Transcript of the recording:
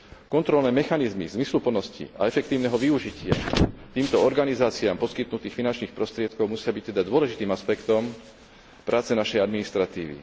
Kontrolné mechanizmy zmysluplnosti a efektívneho využitia týmto organizáciám poskytnutých finančných prostriedkov musia byť teda dôležitým aspektom práce našej administratívy.